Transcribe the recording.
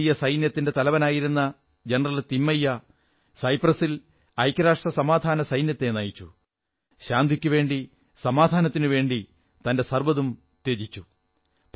ഭാരതീയ സൈന്യത്തിന്റെ തലവനായിരുന്ന ജനറൽ തിമ്മയ്യ സൈപ്രസിൽ ഐക്യരാഷ്ട്ര സമാധാനസൈന്യത്തെ നയിച്ചു ശാന്തിക്കുവേണ്ടി തന്റെ സർവ്വതും ത്യജിച്ചു